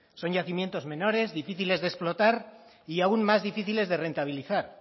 son yacimientos menores difíciles de explotar y aún más difíciles de rentabilizar